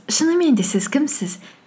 шынымен де сіз кімсіз